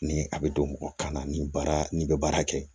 Ni a bɛ don mɔgɔ kan na ni baara n'i bɛ baara kɛ